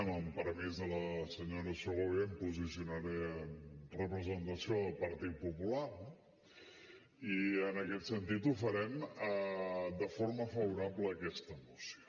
amb el permís de la senyora segovia em posicionaré en representació del partit popular no i en aquest sentit ho farem de forma favorable a aquesta moció